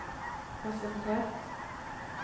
presentert